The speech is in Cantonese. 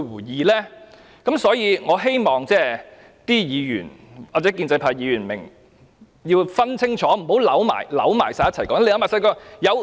因此，我希望議員或建制派議員明白並清楚分辨兩者，不要將這些事混為一談。